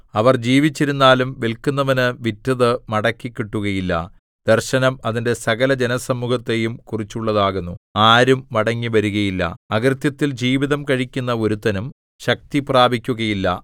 അവർ ജീവിച്ചിരുന്നാലും വില്‍ക്കുന്നവനു വിറ്റതു മടക്കിക്കിട്ടുകയില്ല ദർശനം അതിന്റെ സകല ജനസമൂഹത്തെയും കുറിച്ചുള്ളതാകുന്നു ആരും മടങ്ങിവരുകയില്ല അകൃത്യത്തിൽ ജീവിതം കഴിക്കുന്ന ഒരുത്തനും ശക്തി പ്രാപിക്കുകയില്ല